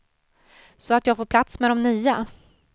Så att jag får plats med de nya.